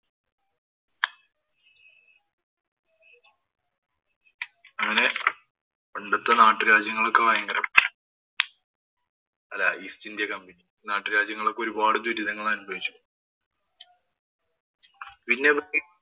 പണ്ടത്തെ നാട്ടുരാജ്യങ്ങളൊക്കെ ഭയങ്കരം അല്ലാ ast india company നാട്ടുരാജ്യങ്ങളൊക്കെ ഒരു ദുരിതങ്ങള്‍ അനുഭവിച്ചു. പിന്നെ അവര്‍ക്ക്